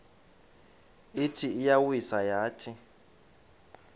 ithi iyawisa yathi